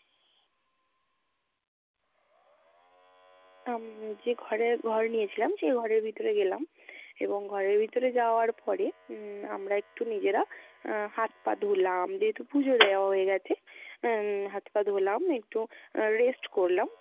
উম যে ঘরে ঘর নিয়েছিলাম সে ঘরের ভিতরে গেলাম এবং ঘরের ভিতরে যাওয়ার পরে উম আমরা একটু নিজেরা আহ হাত পা ধুলাম, যেহেতু পূজো দেওয়া হয়ে গেছে আহ হাত পা ধুলাম একটু rest করলাম।